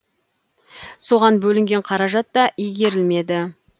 соған бөлінген қаражат та игерілмеді